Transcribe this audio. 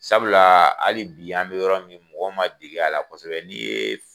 Sabulaa hali bi an be yɔrɔ min mɔgɔw ma deg'a la kosɛbɛ ni yee f